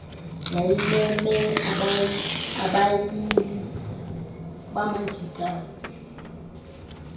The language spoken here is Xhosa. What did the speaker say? yayimeme abayili bamajikazi